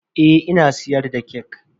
Eh ina siyar da kek.